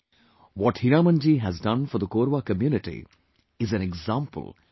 What Hiramanji has done for the Korwa community is an example for the country